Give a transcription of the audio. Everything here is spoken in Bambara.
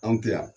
Anw tɛ yan